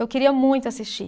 Eu queria muito assistir.